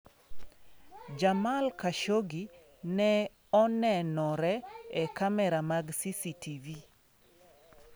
Jamal Khashoggi ne onenore e kamera mag CCTV.